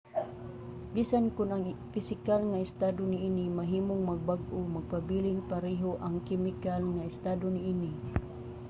bisan kon ang pisikal nga estado niini mahimong magbag-o magpabiling pareho ang kemikal nga estado niini